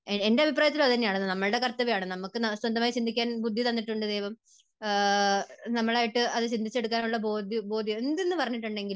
എൻറെ അഭിപ്രായത്തിലും അതുതന്നെയാണ്. അത് നമ്മുടെ കർത്തവ്യമാണ്. നമുക്ക് സ്വന്തമായി ചിന്തിക്കാൻ ബുദ്ധി തന്നിട്ടുണ്ട് ദൈവം. നമ്മളായിട്ട് അത് ചിന്തിച്ചു എടുക്കാനുള്ള ബോധ്യം, എന്ത് എന്ന് പറഞ്ഞിട്ടുണ്ടെങ്കിലും